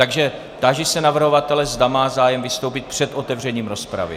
Takže táži se navrhovatele, zda má zájem vystoupit před otevřením rozpravy.